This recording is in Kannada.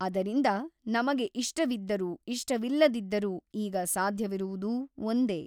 ಅದರಿಂದ ನಮಗೆ ಇಷ್ಟವಿದ್ದರೂ ಇಷ್ಟವಿಲ್ಲದಿದ್ದರೂ ಈಗ ಸಾಧ್ಯವಿರುವುದು ಒಂದೇ.